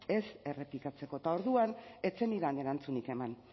ez errepikatzeko eta orduan ez zenidan erantzunik eman